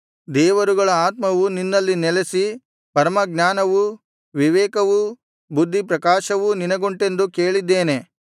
ದೇವರುಗಳ ಆತ್ಮವು ನಿನ್ನಲ್ಲಿ ನೆಲಸಿ ಪರಮಜ್ಞಾನವೂ ವಿವೇಕವೂ ಬುದ್ಧಿಪ್ರಕಾಶವೂ ನಿನಗುಂಟೆಂದು ಕೇಳಿದ್ದೇನೆ